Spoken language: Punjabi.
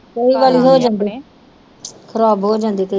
ਖਰਾਬ ਹੋ ਜਾਂਦੇ ਕਈ